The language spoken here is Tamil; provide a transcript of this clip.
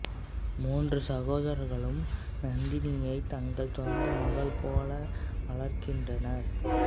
மூன்று சகோதரர்களும் நந்தினியை தங்கள் சொந்த மகள் போல வளர்க்கின்றனர்